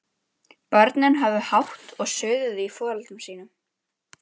Börnin höfðu hátt og suðuðu í foreldrum sínum.